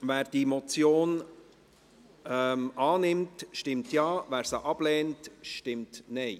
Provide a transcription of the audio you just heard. Wer die Motion annimmt, stimmt Ja, wer diese ablehnt, stimmt Nein.